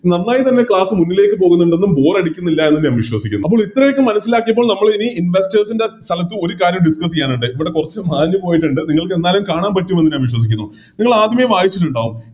നന്നായി തന്നെ Class മുന്നിലേക്ക് പോകുന്നുണ്ടെന്നും Boar അടിക്കുന്നില്ലായെന്നും ഞാൻ വിശ്വസിക്കുന്നു അപ്പോൾ എത്രയൊക്കെ മനസിലാക്കിയപ്പോൾ നമ്മളിനി Investors ൻറെ സ്ഥലത്ത് ഒരു കാര്യം Discuss ചെയ്യാനുണ്ട് ഇവിടെ കൊറച്ച് മാഞ്ഞ് പോയിട്ടിണ്ട് നിങ്ങൾക്കെന്തായാലും കാണാൻ പറ്റും എന്ന് ഞാൻ വിശ്വസിക്കുന്നു നിങ്ങളാദ്യമേ വായിച്ചിട്ടുണ്ടാവും